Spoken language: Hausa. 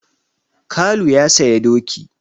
Kalu ya saya doki.